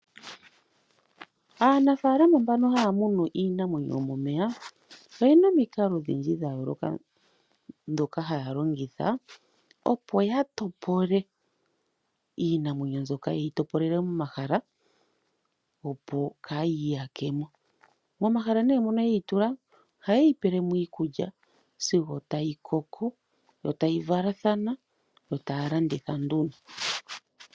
Aanafaalama mbono haya munu iinamwenyo yomomeya oyena omikalo odhindji dhayooloka, ndhoka haya longitha opo yatopole iinamwenyo mbyoka yeyi topolele momahala opo kaayiyakemo . Momahala mono yeyi tula ohayeyi pelemo iikulya sigo tayi koko, yo tayi valathana, yo taya landitha nduno.